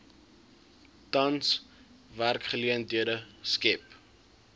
tans werksgeleenthede skep